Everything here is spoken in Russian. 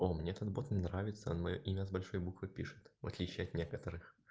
о мне этот бот нравится моё имя с большой буквы пишет в отличие от некоторых